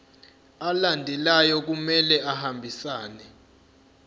alandelayo kumele ahambisane